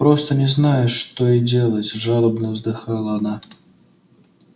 просто не знаю что и делать жалобно вздыхала она